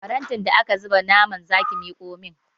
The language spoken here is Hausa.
Farantin da aka zuba naman zaki miƙo min!